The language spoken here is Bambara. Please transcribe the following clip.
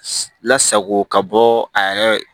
Lasago ka bɔ a yɛrɛ